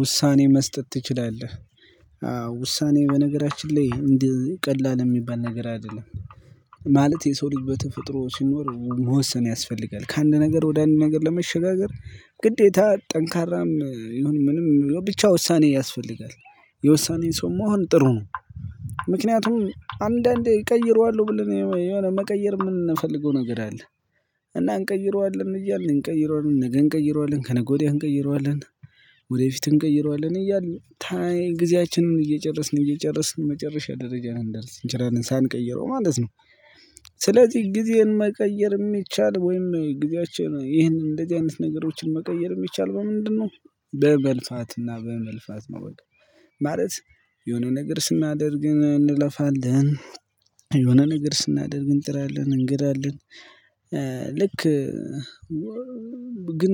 ውሳኔ መስጠት ትችላለህ? አዎ ውሳኔ በነገራችን ላይ እንዲህ ቀላል የሚባል ነገር አይደለም። ማለት የሰው ልጅ በተፈጥሮ ሲኖር መወሰን ያስፈልጋል። ከአንድ ነገር ወደ አንድ ነገር ለመሸጋገር ግዴታ ጠንካራም ይሁን ምንም ብቻ ውሳኔ ያስፈልጋል። የውሳኔን ሰው መሆን ጥሩ ነው። ምክንያቱም አንዳንዴ እቀይረዋለሁ ብለን የሆነ መቀየር የምንፈልገው ነገር አለ እና እንቀይረዋለን እያልን እንቀይረዋለን ነገ እንቀይረዋለን ከነገ ወዲያ እንቀይረዋለን ወደፊት እንቀይረዋለን እያልን ታይም ጊዜያችንን እየጨረስን እየጨረስን መጨረሻ ደረጃ ልንደርስ እንችላለን ሳንቀይረው ማለት ነው። ስለዚህ ጊዜን መቀየር የሚቻለው ወይም ጊዜያአችን ይሄን እንደዚህ አይነት ነገሮችን መቀየር የሚቻለው በምንድነው? በመልፋትና በመልፋት ነው በቃ! ማለት የሆነ ነገር ስናደርግ እንለፋለን፣ የሆነ ነገር ስናደርግ እንጥራለን እንግራለን ልክ ግን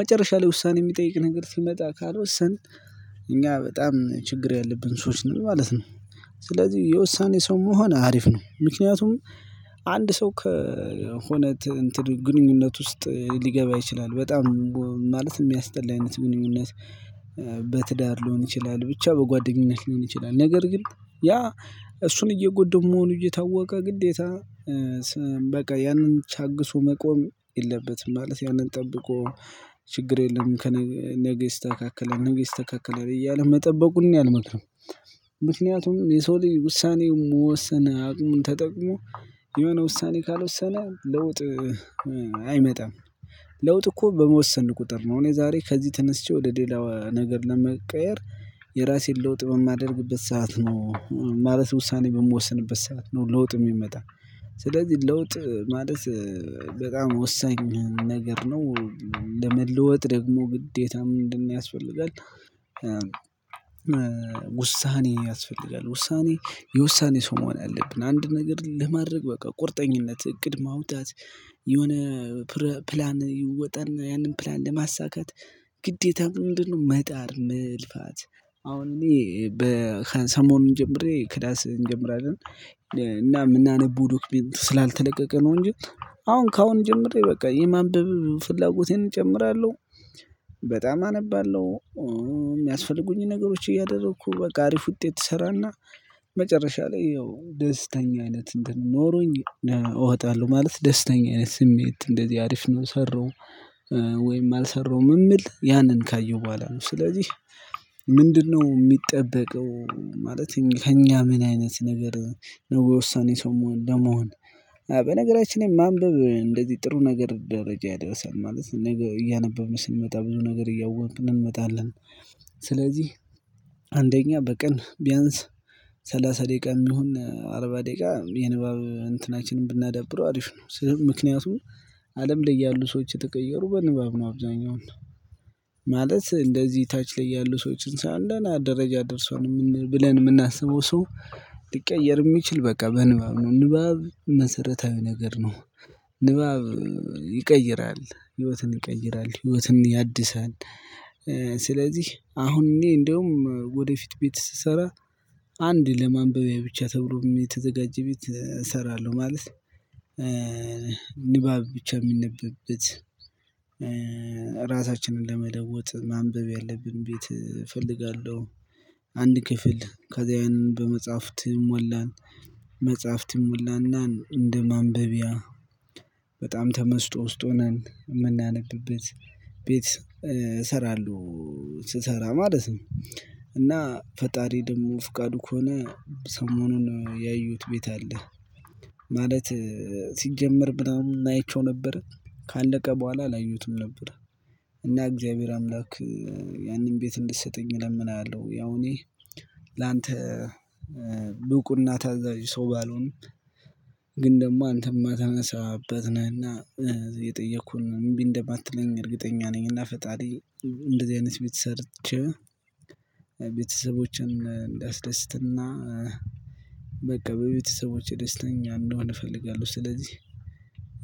መጨረሻ ላይ ውሳኔ የሚጠይቅ ነገር ሲመጣ ካልወሰን እኛ በጣም ችግር ያለብን ሰዎች ነን ማለት ነው። ስለዚህ የውሳኔ ሰው መሆን አሪፍ ነው። ምክንያቱም አንድ ሰው ከሆነ ግንኙነት ውስጥ ሊገባ ይችላል በጣም ማለት የሚያስጠላ አይነት ግንኙነት በትዳር ሊሆን ይችላል ብቻ በጓደኝነት ሊሆን ይችላል ነገር ግን ያ እሱን እየጎዳው መሆኑ እየታወቀ ግዴታ በቃ ያንን ታግሶ መቆም የለበትም፤ ማለት ያንን ጠብቆ ችግር የለም ነገ ይስተካከላል፣ ነገ ይስተካከላል እያለ መጠበቁን እኔ አልመክርም ምክንያቱም የሰው ልጅ ውሳኔ መወሰን አቅሙን ተጠቅሞ የሆነ ውሳኔ ካልወሰነ ለውጥ አይመጣም። ለውጥ እኮ በመወሰን ቁጥር ነው እኔ ዛሬ ከዚህ ተነስቼ ወደ ሌላው ነገር ለመቀየር የራሴን ለውጥ በማደርግበት ሰዓት ነው ማለት ውሳኔ በምወስንበት ሰዓት ነው ለውጥ የሚመጣው። ስለዚህ ለውጥ ማለት በጣም ወሳኝ ነገር ነው። ለመለወጥ ደግሞ ግዴታ ምንድንያስፈልጋል? ውሳኔ ያስፈልጋል። ውሳኔ የውሳኔ ሰው መሆን አለብን፤ አንድ ነገር ለማድረግ በቃ ቁርጠኝነት እቅድ ማውጣት የሆነ ፕላን ይወጣና ያንን ፕላን ለማሳካት ግዴታ ምንድነው መጣር መልፋት አሁን እኔ ሰሞኑን ጀምሬ ክላስ እንጀምራለን እና የምናነበው ዶክመንት ስላልተለቀቀ ነው እንጂ አሁን ከአሁን ጀምሮ በቃ የማንበብ ፍላጎቴን እጨምራለሁ በጣም አነባለሁ የሚያስፈልጉኝ ነገሮች እያደረኩ በቃ አሪፍ ውጤት እሰራና መጨረሻ ላይ ያው ደስተኛ አይነት እንትን ኖሮኝ እወጣለሁ። ማለት ደስተኛ አይነት ስሜት እንደዚህ አሪፍ ነው የሰራሁት ወይም አልሰራሁም የምለው ያንን ካየሁ በኋላ ነው ስለዚህ ምንድነው የሚጠበቀው ማለት ከእኛ ምን አይነት ነገር ነው የወሳኔ ሰው ለመሆን በነገራችን ላይ ማንበብ እንደዚህ ጥሩ ነገር ደረጃ ያደርሳል። ማለት ነገ እያነበብን ስንመጣ ብዙ ነገር እያወቅን እንመጣለን ስለዚህ አንደኛ በቀን ቢያንስ ሰላሳ ደቂቃ ይሁን አርባ ደቂቃ የንባብ እንትናችንን ብናዳብረው አሪፍ ነው። ምክንያቱም አለም ላይ ያሉ ሰዎች የተቀየሩት በንባብ ነው አብዛኛውን ማለት እንደዚህ ታች ላይ ያሉ ሰዎችን ስናይ አንድ ደረጃ ደርሷል ብለን የምናስበው ሰው ሊቀየር የሚችለው በቃ በንባብ ነው። ንባብ መሰረታዊ ነገር ነው። ንባብ ይቀይራል፣ ህይወትን ይቀይራል፣ ህይወትን ያድሳል ስለዚህ አሁን እኔ እንደውም ወደፊት ቤት ስሰራ አንድ ለማንበቢያ ብቻ ተብሎ የተዘጋጀ ቤት እሰራለሁ ማለት ንባብ ብቻ የሚነበብበት፤ ራሳችንን ለመለወጥ ማንበብ ያለብን ቤት እፈልጋለሁ። አንድ ክፍል ከዛ ያንን በመጻሐፍት ይሞላል። መጻሐፍት ይሞላና እንደ ማንበቢያ በጣም ተመስጦ ውስጥ ሆነን የምናነብበት ቤት እሰራለሁ። ስሰራ ማለት ነው እና ፈጣሪ ደግሞ ፍቃዱ ከሆነ ሰሞኑን ያየሁት ቤት አለ ማለት ሲጀመር ምናምን አይቼው ነበር፤ ካለቀ በኋላ አላየሁትም ነበር እና እግዚአብሔር አምላክ ያንን ቤት እንድትሰጠኝ እለምንሀለው ያው እኔ ላንተ ብቁና ታዛዥ ሰው ባልሆንም ግን ደግሞ አንተ ማትነሳ አባት ነህና የጠየኩህን እምቢ እንደማትለኝ እርግጠኛ ነኝ እና ፈጣሪ እንደዚህ አይነት ቤት ሰርቼ ቤተሰቦቼን እንዳስደስትና በቃ በቤተሰቦቼ ደስተኛ እንድሆን እፈልጋለሁ ስለዚህ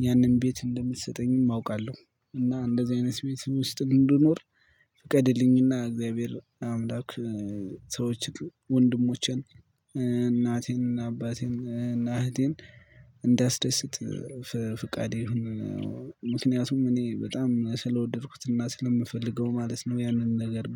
ያንን ቤት እንደምትሰጠኝም አውቃለሁ እና እንደዚህ አይነት ቤት ውስጥ እንድኖር ፍቀድልኝና እግዚአብሔር አምላክ ሰዎችን ወንድሞቼን፣ እናቴን እና አባቴን እና እህቴን እንዳስደስት ፍቃድህ እሁን ምክንያቱም እኔ በጣም ስለወደድኩትና ስለምፈልገው ማለት ነው ያንን ነገር